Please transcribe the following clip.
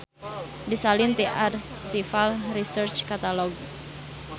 Disalin ti Archival Research Catalog.